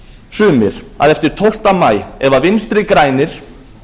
sumir að eftir tólfta maí ef vinstri grænir